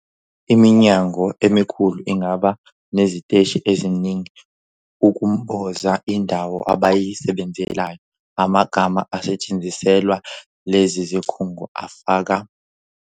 Iminyango emikhulu ingaba neziteshi eziningi ukumboza indawo abayisebenzelayo. Amagama asetshenziselwa lezi zikhungo afaka.